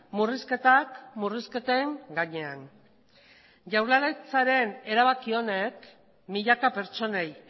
murrizketak murrizketen gainean jaurlaritzaren erabaki honek milaka pertsonei